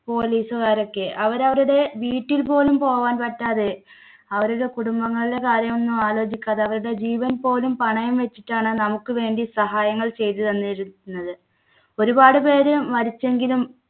police കാരൊക്കെ. അവരവരുടെ വീട്ടിൽ പോലും പോകാൻ പറ്റാതെ അവരുടെ കുടുംബങ്ങളിലെ കാര്യമൊന്നും ആലോചിക്കാതെ അവരുടെ ജീവൻ പോലും പണയം വെച്ചിട്ടാണ് നമുക്കുവേണ്ടി സഹായങ്ങൾ ചെയ്തു തന്നിരുന്നത്. ഒരുപാട് പേര് മരിച്ചെങ്കിലും